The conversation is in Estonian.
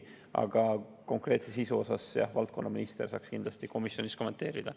Aga konkreetset sisu saaks valdkonnaminister kindlasti komisjonis kommenteerida.